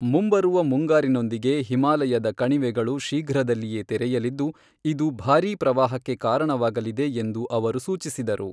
ಮುಂಬರುವ ಮುಂಗಾರಿನೊಂದಿಗೆ ಹಿಮಾಲಯದ ಕಣಿವೆಗಳು ಶೀಘ್ರದಲ್ಲೇ ತೆರೆಯಲಿದ್ದು, ಇದು ಭಾರೀ ಪ್ರವಾಹಕ್ಕೆ ಕಾರಣವಾಗಲಿದೆ ಎಂದು ಅವರು ಸೂಚಿಸಿದರು.